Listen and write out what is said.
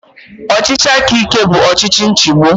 Ọchịchị aka ike bụ ọchịchị nchigbu